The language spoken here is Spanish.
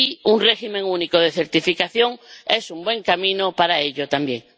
un régimen único de certificación es un buen camino para ello también.